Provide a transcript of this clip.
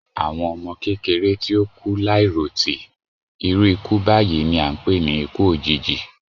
Àwọn ọmọ kékeré tí o kú láì ròtì, iru iku báyìí ni a ń pè ni ikú òjijì